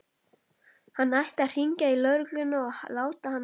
Hann ætti að hringja í lögregluna og láta hana vita.